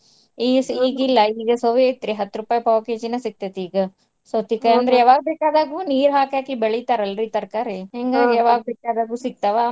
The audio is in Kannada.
ಈಗಿಲ್ಲಾ ಈಗ ಸವಿ ಐತ್ರಿ ಹತ್ತ್ ರೂಪಾಯಿ ಪಾವ್ KG ನ ಸಿಗ್ತೇತಿಗ. ಯಾವಾಗ ಬೇಕಾದಾಗು ನೀರ್ ಹಾಕಿ ಹಾಕಿ ಬೆಳಿತಾರಲ್ರಿ ತರಕಾರಿ ಯಾವಾಗ್ ಬೇಕದಾಗೂ ಸಿಗ್ತಾವಾ.